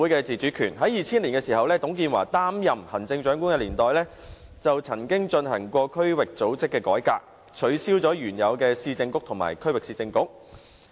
在2000年，在董建華擔任行政長官的年代，曾經進行區域組織改革，取消原有的市政局和區域市政局。